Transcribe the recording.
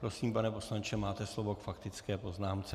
Prosím, pane poslanče, máte slovo k faktické poznámce.